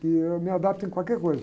Que eu me adapto em qualquer coisa.